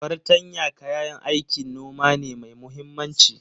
Fartanya kayan aikin noma ne mai muhimmanci.